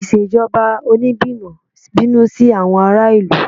Ìṣèjọba Onígbìmọ̀ bínú sí àwọn ará ìlú